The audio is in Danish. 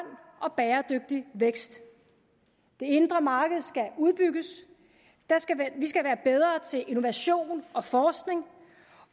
og bæredygtig vækst det indre marked skal udbygges vi skal være bedre til innovation og forskning